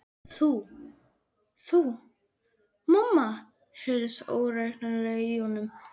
Þú. þú. mamma. heyrðist ógreinilega í honum.